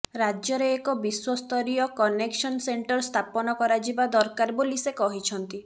ରାଜ୍ୟରେ ଏକ ବିଶ୍ବ ସ୍ତରୀୟ କନେକସନ ସେଣ୍ଟର୍ ସ୍ଥାପନ କରାଯିବା ଦରକାର ବୋଲି ସେ କହିଛନ୍ତି